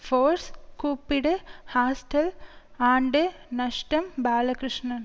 force கூப்பிடு hostel ஆண்டு நஷ்டம் பாலகிருஷ்ணன்